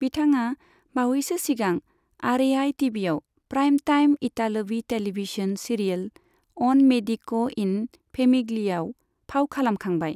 बिथाङा बावैसो सिगां आरएआइ टिभिआव प्राइम टाइम इतालवी टेलिभिजन सिरियेल, अन मेडिक' इन फेमिग्लियाआव फाव खालामखांबाय।